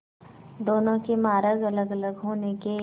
दोनों के मार्ग अलगअलग होने के